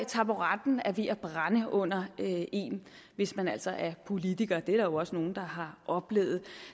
taburetten er ved at brænde under en hvis man altså er politiker det er der jo også nogle der har oplevet